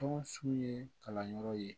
Tɔn sugu ye kalanyɔrɔ ye